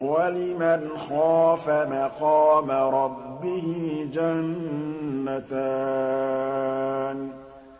وَلِمَنْ خَافَ مَقَامَ رَبِّهِ جَنَّتَانِ